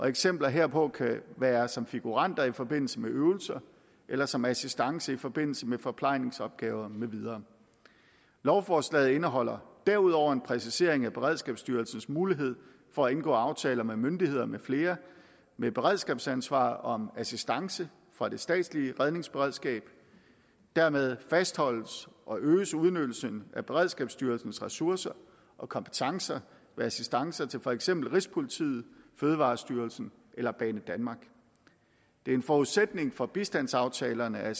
eksempler herpå kan være som figuranter i forbindelse med øvelser eller som assistance i forbindelse med forplejningsopgaver med videre lovforslaget indeholder derudover en præcisering af beredskabsstyrelsens mulighed for at indgå aftaler med myndigheder med flere med beredskabsansvar om assistance fra det statslige redningsberedskab dermed fastholdes og øges udnyttelsen af beredskabsstyrelsens ressourcer og kompetencer ved assistance til for eksempel rigspolitiet fødevarestyrelsen eller banedanmark det er en forudsætning for bistandsaftalerne at